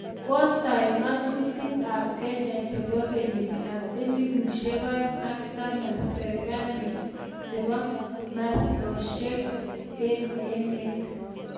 �.....Kotai ngatutik ap kenya chebo 2010 serikalit chebo mastoshek ing emet.